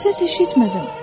Səs eşitmədim.